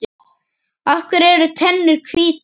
Af hverju eru tennur hvítar?